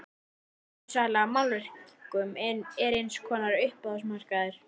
Endursala á málverkum er eins konar uppboðsmarkaður.